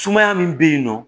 Sumaya min bɛ yen nɔ